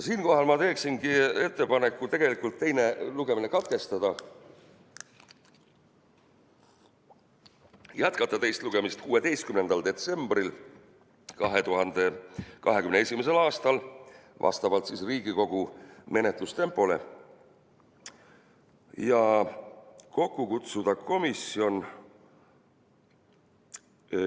Siinkohal ma teeksin ettepaneku teine lugemine katkestada ja jätkata teist lugemist vastavalt Riigikogu menetlustempole 16. detsembril 2021. aastal ja kutsuda kokku komisjon.